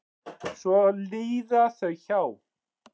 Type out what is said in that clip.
Svo líða þau hjá.